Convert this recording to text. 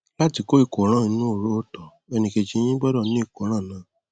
láti kó ìkóràn inú horo ìtọ ẹnìkejì yín gbọdọ ní ìkóràn náà